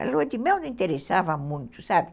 A lua de mel não interessava muito, sabe?